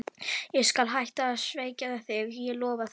Og ég skal hætta að svekkja þig, ég lofa því.